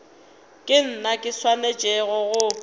ke nna ke swanetšego go